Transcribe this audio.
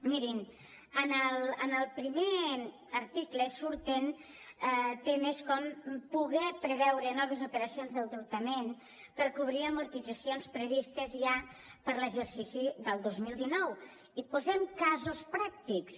mirin en el primer article surten temes com poder preveure noves operacions d’endeutament per cobrir amortitzacions previstes ja per a l’exercici del dos mil dinou i posem casos pràctics